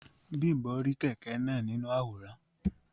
Bimbo ri kẹkẹ náà nínú àwòrán.